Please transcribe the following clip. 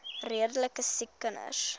redelike siek kinders